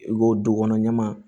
I ko du kɔnɔ ɲaman